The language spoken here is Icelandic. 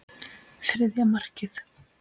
Þriðja markið.